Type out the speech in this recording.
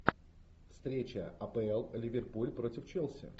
встреча апл ливерпуль против челси